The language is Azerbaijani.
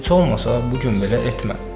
Heç olmasa bu gün belə etmə.